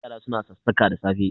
Yara suna sassaƙa da safe